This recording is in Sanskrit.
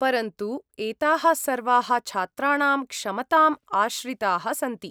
परन्तु एताः सर्वाः छात्राणां क्षमताम् आश्रिताः सन्ति।